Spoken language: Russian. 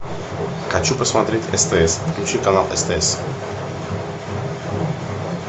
хочу посмотреть стс включи канал стс